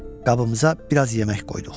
Qabımıza biraz yemək qoyduq.